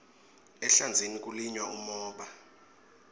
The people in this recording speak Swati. ehlandzeni kulinywa umhoba